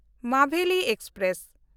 Maveli express